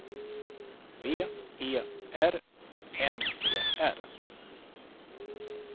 V E R N E R